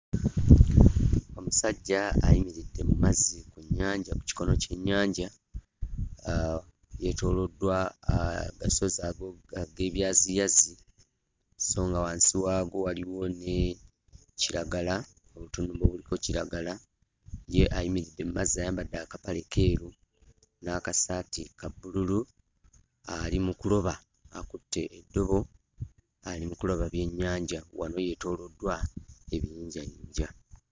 Omusajja ayimiridde mu mazzi ku nnyanja, ku kikono ky'ennyanja, yeetooloddwa agasozi ag'ebyaziyazi so nga wansi waago waliwo ne kiragala, obutundu obuliko kiragala. Ye alimiridde mu mazzi ayambadde akapale keeru n'akasaati ka bbululu ali mu kuloba, akutte eddobo ali mu kuloba byennyanja; wano yeetooloddwa ebiyinjayinja.